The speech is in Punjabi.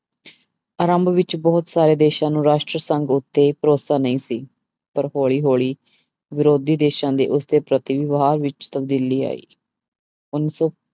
ਆਰੰਭ ਵਿੱਚ ਬਹੁਤ ਸਾਰੇ ਦੇਸਾਂ ਨੂੰ ਰਾਸ਼ਟਰੀ ਸੰਘ ਉੱਤੇ ਭਰੋਸਾ ਨਹੀਂ ਸੀ, ਪਰ ਹੌਲੀ ਹੌਲੀ ਵਿਰੋਧੀ ਦੇਸਾਂ ਦੇ ਉਸਦੇ ਪ੍ਰਤੀ ਵਿਵਹਾਰ ਵਿੱਚ ਤਬਦੀਲੀ ਆਈ, ਉੱਨੀ ਸੌ